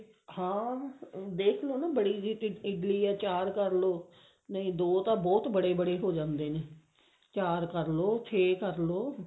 ਹਾਂ ਦੇਖਲੋ ਨਾ ਬੜੀ ਇਡਲੀ ਹੈ ਚਾਰ ਕਰਲੋ ਨਹੀਂ ਦੋ ਤਾਂ ਬਟ ਬੜੇ ਬੜੇ ਹੋ ਜਾਂਦੇ ਨੇ ਚਾਰ ਕਰਲੋ ਛੇ ਕਰਲੋ